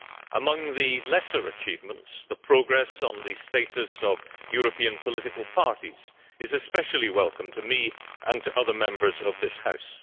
Among the lesser achievements, the progress on the status of European political parties is especially welcome to me and to other Members of this House.